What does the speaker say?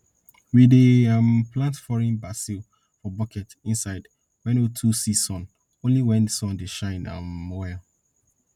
we dey um plant foreign basil for bucket inside wey no too see sun only when sun dey shine um well